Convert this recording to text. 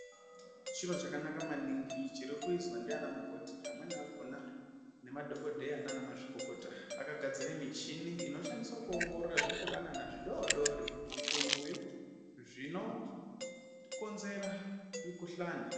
Chiro chakanaka maningi chiri kuizwa ndiana mukoti. Amweni akhona nemadhokodheya naana mazvikokota akagadzira michini inoshandiswa kuongorora nezvipukanana zvidodori, zvitumbuyu zvinokonzera mikhuhlani.